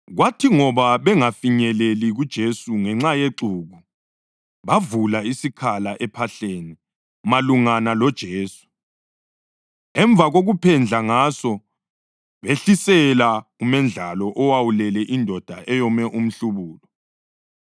Kwathi ngoba bengafinyeleli kuJesu ngenxa yexuku, bavula isikhala ephahleni malungana loJesu, emva kokuphendla ngaso, behlisela umendlalo owawulele indoda eyome umhlubulo.